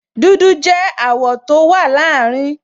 Dúdú jẹ́ àwọ̀ tó wà láàrin